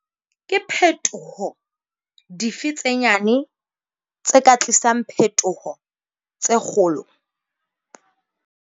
Ke phetoho dife tse nyane tse ka tlisang phetoho tse kgolo?